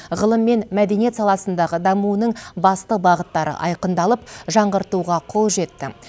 ғылым мен мәдениет саласындағы дамуының басты бағыттары айқындалып жаңғыртуға қол жетті